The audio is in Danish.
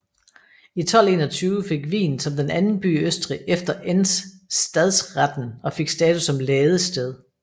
I 1221 fik Wien som den anden by i Østrig efter Enns stadsreten og fik status som ladested